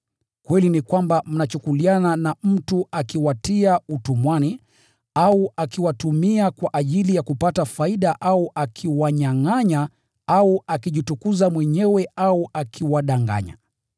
Kweli ni kwamba mnachukuliana na mtu akiwatia utumwani au akiwatumia kwa ajili ya kupata faida au akiwanyangʼanya au akijitukuza mwenyewe au akiwadanganya.